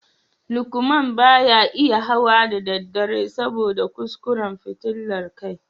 Lukman ba ya iya hawa da daddare saboda kuskuren fitilar kai